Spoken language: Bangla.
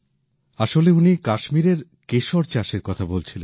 আসলে উনি কাশ্মীরের কেশর চাষের কথা বলছিলেন